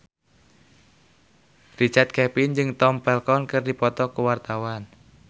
Richard Kevin jeung Tom Felton keur dipoto ku wartawan